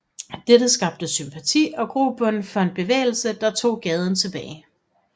Dette skabte sympati og grobund for en bevægelse der tog gaden tilbage